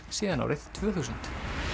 síðan árið tvö þúsund